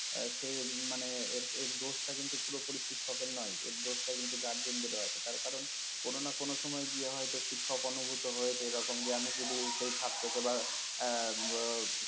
সে মানে এর দোষটা কিন্তু পুরোপুরি শিক্ষকের নেই এর দোষটা কিন্তু guardian দের ও আছে তার কারণ কোন না কোন সময় গিয়ে হয় তো শিক্ষক অনুভূত হয়েছে এরকম যে আমি যদি সেই ছাত্রকে বা